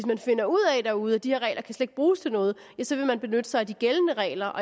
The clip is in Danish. man finder ud af derude at de her regler kan bruges til noget så vil man benytte sig af de gældende regler